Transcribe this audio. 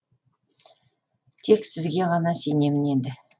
тек сізге ғана сенемін енді